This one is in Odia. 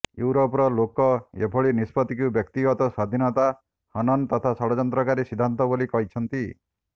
ୟୁରୋପର ଲୋକେ ଏଭଳି ନିଷ୍ପତ୍ତିକୁ ବ୍ୟକ୍ତିଗତ ସ୍ବାଧୀନତା ହନନ ତଥା ଷଡ଼ଯନ୍ତ୍ରକାରୀ ସିଦ୍ଧାନ୍ତ ବୋଲି କହିଛନ୍ତି